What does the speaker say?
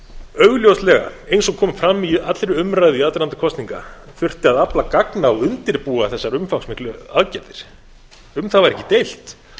augljóslega eins og kom fram í allri umræðu í aðdraganda kosninga þurfti að afla gagna og undirbúa þessar umfangsmiklu aðgerðir um það var ekki deilt